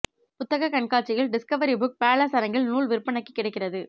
புத்தகக் கண்காட்சியில் Discovery Book Palace அரங்கில் நூல் விற்பனைக்கு கிடைக்கிறது